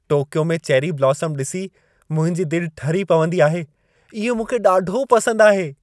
Tokyo में cherry blossom ॾिसी मुंहिंजी दिलि ठरी पवंदी आहे। इहे मूंखे ॾाढो पसंदि आहे।